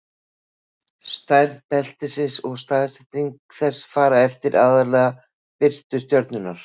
stærð beltisins og staðsetning þess fara eftir aðallega eftir birtu stjörnunnar